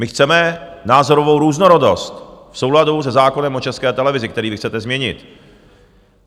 My chceme názorovou různorodost v souladu se zákonem o České televizi, který vy chcete změnit.